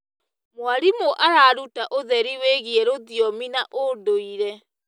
Mwarimũ araruta ũtheri wĩgiĩ rũthiomi na ũndũire.